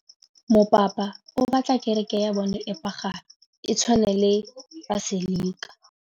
Mopapa o batla kereke ya bone e pagame, e tshwane le paselika.